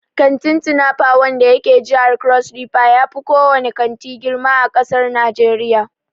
Kantin "Tinapa" wanda yake jihar Crossriver yafi ko wane kanti girma a ƙasar Najeriya.